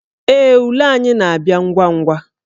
Ee, ule anyị na-abịa ngwa ngwa